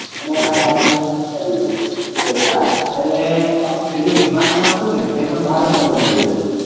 એના કારણે બધું ભૂલતા જયરે અપડું પેલું વિમાન પણ હતું એ ભારત માં બનાવ્યું છે